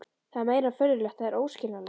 Það er meira en furðulegt, það er óskiljanlegt.